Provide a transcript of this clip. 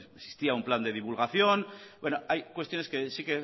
existía un plan de divulgación bueno hay cuestiones que sí